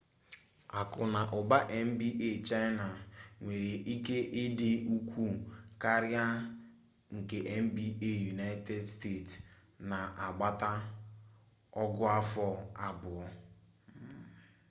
aku na uba mba china nwere ike idi ukwu karia nke mba united state na agbata ogu-afo abuo